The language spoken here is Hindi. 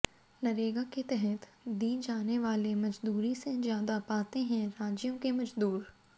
नरेगा के तहत दी जाने वाले मजदूरी से ज्यादा पाते हैं राज्यों के मजदूर